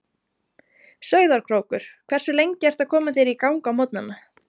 Sauðárkrókur Hversu lengi ertu að koma þér í gang á morgnanna?